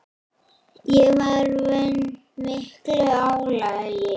Ég var vön miklu álagi.